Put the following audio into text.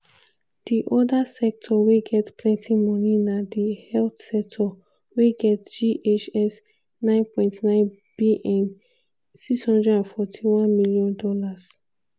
di oda sector wey get plenti moni na di health sector – wey get ghs 9.9bn ($641m)